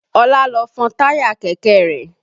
Ọlá lọ fọn táyà kẹ̀kẹ́ rẹ̀